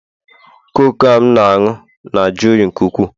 Coke a m na-aṅụ na-ajụ oyi nke ukwuu